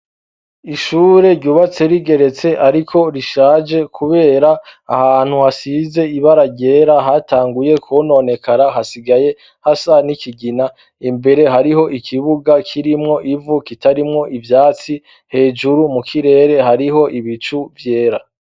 Ishure ryubatse rigeretse, ariko rishaje, kubera ahantu hasize ibara ryera hatanguye kbononekara hasigaye hasa nikigina imbere hariho ikibuga kirimwo ivu kitarimwo ivyatsi hejuru mu kirere hariho ibicu vyera.